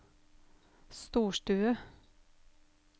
storstue